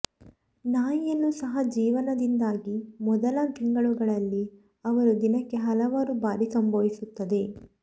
ನಾಯಿಯನ್ನು ಸಹ ಜೀವನದಿಂದಾಗಿ ಮೊದಲ ತಿಂಗಳುಗಳಲ್ಲಿ ಅವರು ದಿನಕ್ಕೆ ಹಲವಾರು ಬಾರಿ ಸಂಭವಿಸುತ್ತದೆ